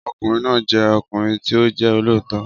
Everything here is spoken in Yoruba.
Ọkùnrin náà jẹ́ ọkùnrin tí ó jẹ́ olóòótọ́